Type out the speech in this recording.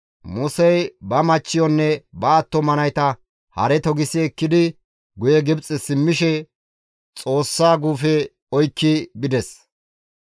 Musey ba machchiyonne ba attuma nayta hare togisi ekkidi guye Gibxe simmishe Xoossa guufe oykki bides.